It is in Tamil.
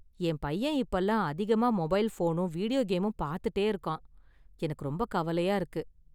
என் பையன் இப்பயெல்லாம் அதிகமா மொபைல் ஃபோனும் வீடியோ கேமும் பாத்துட்டே இருக்கான் , எனக்கு ரொம்ப கவலையா இருக்கு.